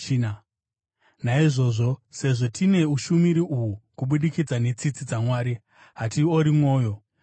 Naizvozvo, sezvo tine ushumiri uhu kubudikidza netsitsi dzaMwari, hatiori mwoyo.